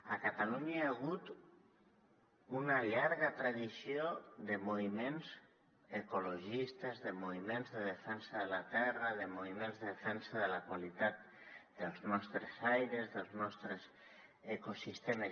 a catalunya hi ha hagut una llarga tradició de moviments ecologistes de moviments de defensa de la terra de moviments de defensa de la qualitat dels nostres aires dels nostres ecosistemes